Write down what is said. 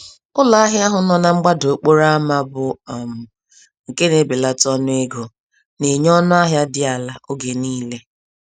Ụlọ ahịa ahụ nọ na mgbada okporo ámá, bu um nke na-ebelata ọnụ égo, na enye ọnụ ahịa dị àlà oge nile.